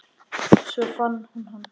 Svo fann hún hann.